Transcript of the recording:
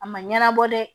A ma ɲɛnabɔ dɛ